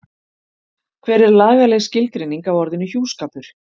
hver er lagaleg skilgreining á orðinu hjúskapur